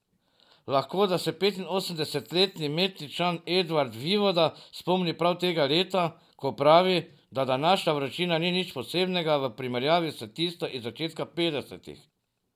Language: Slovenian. Lahko da se petinosemdesetletni Metličan Edvard Vivoda spomni prav tega leta, ko pravi, da današnja vročina ni nič posebnega v primerjavi s tisto iz začetka petdesetih.